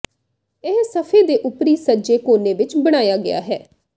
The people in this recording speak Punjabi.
ਇਹ ਸਫ਼ੇ ਦੇ ਉੱਪਰੀ ਸੱਜੇ ਕੋਨੇ ਵਿੱਚ ਬਣਾਇਆ ਗਿਆ ਹੈ